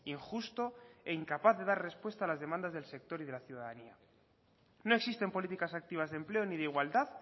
injusto e incapaz de dar respuesta a las demandas del sector y de la ciudadanía no existen políticas activas de empleo ni de igualdad